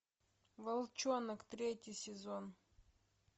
волчонок третий сезон